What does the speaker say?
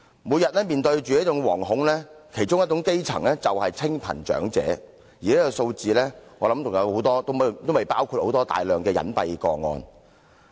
每天面對這份惶恐的其中一種基層人士就是清貧長者，而這個數字還未包括大量隱蔽個案。